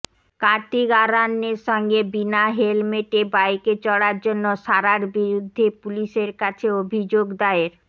কার্তিক আরয়ানের সঙ্গে বিনা হেলমেটে বাইকে চড়ার জন্য সারার বিরুদ্ধে পুলিশের কাছে অভিযোগ দায়ের